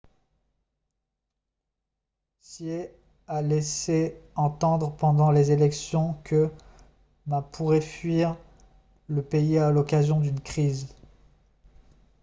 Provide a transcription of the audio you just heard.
hsieh a laissé entendre pendant les élections que ma pourrait fuir le pays à l'occasion d'une crise